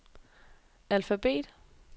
alfabet